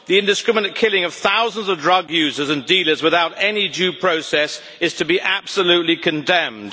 The indiscriminate killing of thousands of drug users and dealers without any due process is to be absolutely condemned.